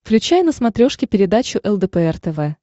включай на смотрешке передачу лдпр тв